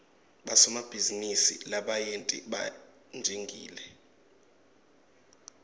bosomabhizinisi labayenti banjingile